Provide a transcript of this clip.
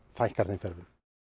fækkar þeim ferðum